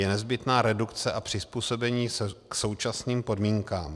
Je nezbytná redukce a přizpůsobení se současným podmínkám.